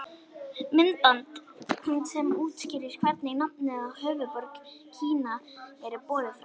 Myndband sem útskýrir hvernig nafnið á höfuðborg Kína er borið fram.